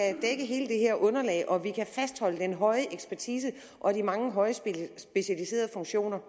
fastholde den høje ekspertise og de mange højt specialiserede funktioner